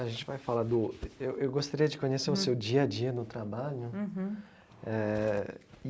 A gente vai falar do... Eu eu gostaria de conhecer o seu dia a dia no trabalho uhum eh e.